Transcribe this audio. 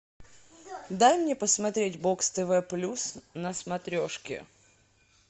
дай мне посмотреть бокс тв плюс на смотрешке